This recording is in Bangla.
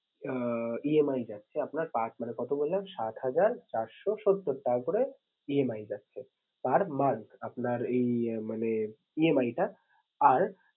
আহ EMI যাচ্ছে আপনার মানে কত বললেন? সাত হাজার চারশো সত্তর টাকা করে EMI যাচ্ছে per month আপনার এই আহ মানে EMI টা আর